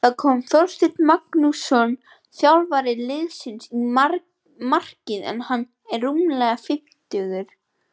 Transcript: Þá kom Þorsteinn Magnússon þjálfari liðsins í markið en hann er rúmlega fimmtugur.